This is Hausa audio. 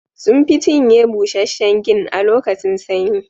Sun fi cinye busasshen gin a lokacin sanyi